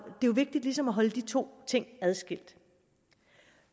jo vigtigt ligesom at holde de to ting adskilt